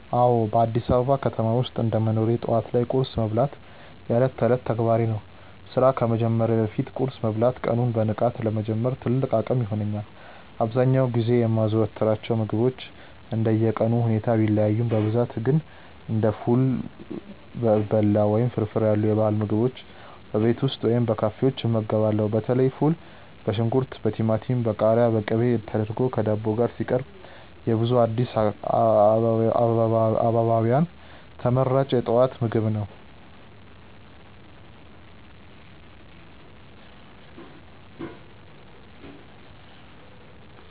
አዎ፣ በአዲስ አበባ ከተማ ውስጥ እንደ መኖሬ ጠዋት ላይ ቁርስ መብላት የዕለት ተዕለት ተግባሬ ነው። ስራ ከመጀመሬ በፊት ቁርስ መብላት ቀኑን በንቃት ለመጀመር ትልቅ አቅም ይሆነኛል። አብዛኛውን ጊዜ የማዘወትራቸው ምግቦች እንደየቀኑ ሁኔታ ቢለያዩም፣ በብዛት ግን እንደ ፉል፣ በላው ወይም ፍርፍር ያሉ የባህል ምግቦችን በቤት ውስጥ ወይም በካፌዎች እመገባለሁ። በተለይ ፉል በሽንኩርት፣ በቲማቲም፣ በቃሪያና በቅቤ ተደርጎ ከዳቦ ጋር ሲቀርብ የብዙ አዲስ አበባውያን ተመራጭ የጠዋት ምግብ ነው።